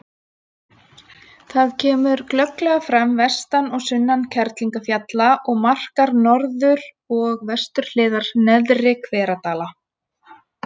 Það kemur glögglega fram vestan og sunnan Kerlingarfjalla og markar norður- og vesturhliðar Neðri-Hveradala.